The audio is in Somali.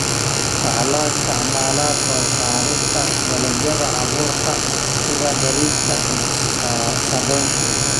Waxa loo isticmaalaa soo saarista dalagyada abuurka sida bariiska iyo sarreenka.